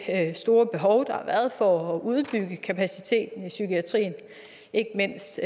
store behov der har været for at udbygge kapaciteten i psykiatrien ikke mindst